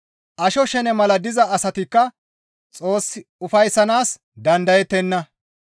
Asho shene mala diza asatikka Xoos ufayssanaas dandayettenna.